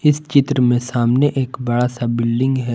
इस चित्र में सामने एक बड़ा सा बिल्डिंग है।